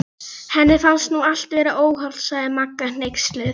Henni finnst nú allt vera óhollt sagði Magga hneyksluð.